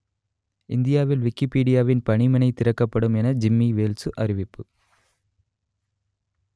இந்தியாவில் விக்கிப்பீடியாவின் பணிமனை திறக்கப்படும் என ஜிம்மி வேல்சு அறிவிப்பு